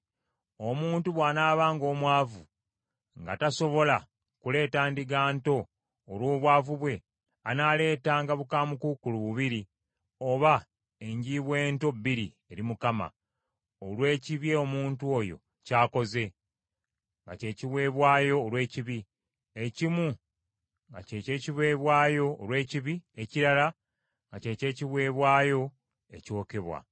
“ ‘Omuntu bw’anaabanga omwavu, nga tasobola kuleeta ndiga nto olw’obwavu bwe, anaaleetanga bukaamukuukulu bubiri oba enjiibwa ento bbiri eri Mukama , olw’ekibi omuntu oyo ky’akoze, nga ky’ekiweebwayo olw’ekibi, ekimu nga kye ky’ekiweebwayo olw’ekibi ekirala nga kye ky’ekiweebwayo ekyokebwa.